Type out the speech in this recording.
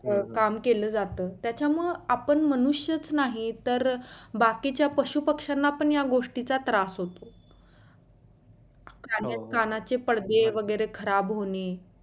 काम केलं जात त्याच्यामुळे आपण मनुष्यच नाही तर बाकीच्या पशु पक्षांना पण या गोष्टीचा त्रास होतो कानाचे पडदे वगैरे खराब होने,